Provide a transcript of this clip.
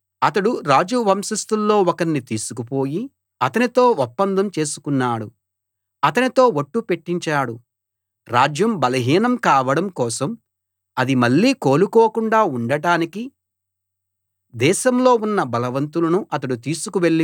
అతడు రాజు వంశస్థుల్లో ఒకణ్ణి తీసుకుపోయి అతనితో ఒప్పందం చేసుకున్నాడు అతనితో ఒట్టు పెట్టించాడు రాజ్యం బలహీనం కావడం కోసం అది మళ్ళీ కోలుకోకుండా ఉండటానికి దేశంలో ఉన్న బలవంతులను అతడు తీసుకు వెళ్లి పోయాడు